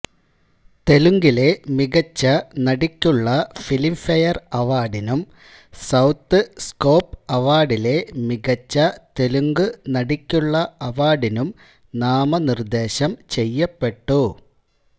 തെലുങ്കിലെ മികച്ച നടിക്കുള്ള ഫിലിംഫെയർ അവാർഡിനും സൌത്ത് സ്കോപ്പ് അവാർഡിലെ മികച്ച തെലുങ്ക് നടിക്കുള്ള അവാർഡിനും നാമനിർദ്ദേശം ചെയ്യപ്പെട്ടു